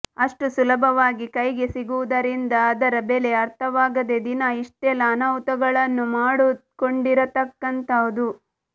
ಅಷ್ಟು ಸುಲಭವಾಗಿ ಕೈಗೆ ಸಿಗುವುದರಿಂದ ಅದರ ಬೆಲೆ ಅರ್ಥವಾಗದೆ ದಿನಾ ಇಷ್ಟೆಲ್ಲಾ ಅನಾಹುತಗಳನ್ನು ಮಾಡುಕೊಂಡಿರತಕ್ಕಂತಹದು